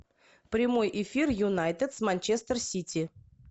прямой эфир юнайтед с манчестер сити